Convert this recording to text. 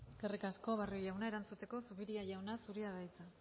eskerrik asko barrio jauna erantzuteko zupiria jauna zurea da hitza